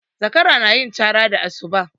Zakara na yin cara da asuba